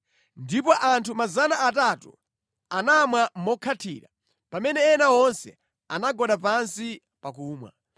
Ndipo anthu 300 anamwa mokhathira, pamene ena onse anagwada pansi pakumwa.